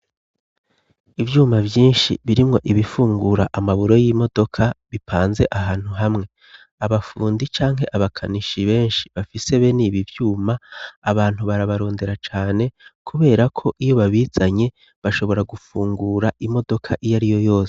Ivyuma vyinshi birimwo ibifungura amaburo y'imodoka bipanze ahantu hamwe abafundi canke abakanishi benshi bafise be n'ibi vyuma abantu barabarondera cane, kubera ko iyo babizanye bashobora gufungura imodoka iyo ari yo yose.